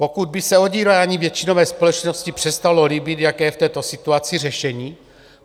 Pokud by se odírání většinové společnosti přestalo líbit, jaké je v této situaci řešení?